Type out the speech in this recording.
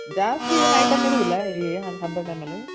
ಜಾಸ್ತಿ ಏನ್ item ಇರೋದಿಲ್ಲ ಹಬ್ಬದ್ time ಅಲ್ಲಿ